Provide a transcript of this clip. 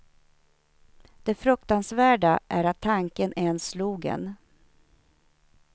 Det fruktansvärda är att tanken ens slog en.